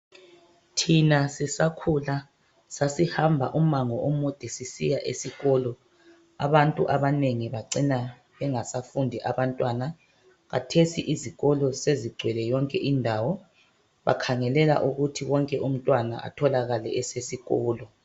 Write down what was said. Thina sisakhula sasihamba umango omude sisisya esikolo abantu abanengi bacina bengasafundi abantwana khathesi izikolo sezigcwele yonke indawo bakhangelela ukuthi wonke umntwana atholakale esesikolo